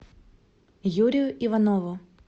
юрию иванову